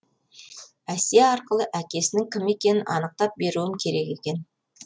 әсия арқылы әкесінің кім екенін анықтап беруім керек екен